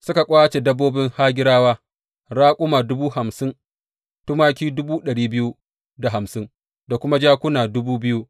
Suka ƙwace dabbobin Hagirawa, raƙuma dubu hamsin, tumaki dubu ɗari biyu da hamsin da kuma jakuna dubu biyu.